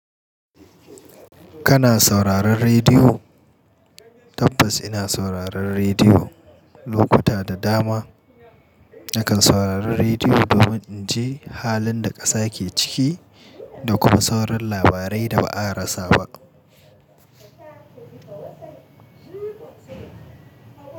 Kana sauraron rediyo? Tabbas ina sauraron rediyo lokuta da dama. Nakan saurari rediyo domin in ji halin da ƙasa ke ciki da kuma sauran labarai da ba a rasa ba.